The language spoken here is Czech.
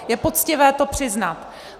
Je poctivé to přiznat.